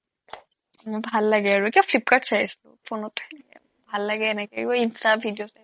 মোৰ ভাল লাগে আৰু কিবা ফ্লিপকাৰ্ট চাই আছিলো phone ত ভাললাগে এনেকে এইবোৰ ইনষ্টা video